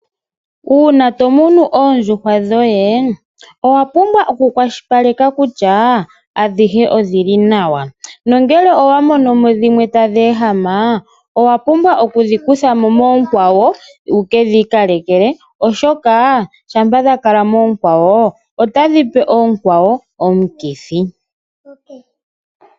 Una tomunu oondjuhwa dhoye owa pumbwa oku kwashilipaleka kutya adhihe odhili nawa. Nongele owa mono mo dhimwe tadhi ehama owa pumbwa okudhi kutha mo moonkwawo wukedhi ikalekele, oshoka otadhi pe oonkwawo omukithi.